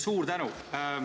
Suur tänu!